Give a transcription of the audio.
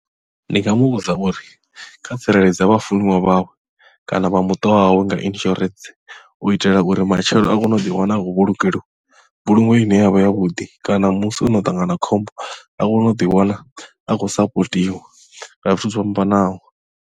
Ndi nga muvhudza uri kha tsireledze vha funiwa vhawe kana vha muṱa wawe nga insurance u itela uri matshelo a kone u ḓiwana akho vhulungeliwe mbulungo ine yavha ya vhuḓi kana musi ono ṱangana na khombo a kone u ḓiwana a khou sapotiwa nga zwithu zwo fhambanaho.